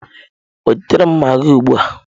Wetara m magịị ugbu a!